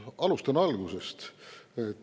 Alustan algusest.